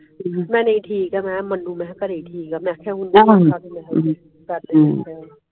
ਮੇਂ ਨਹੀਂ ਠੀਕ ਆ ਮੈਂ ਮੈਨੂ ਘਰੇ ਠੀਕ ਹੈ ਮੇਂ ਕਹਾ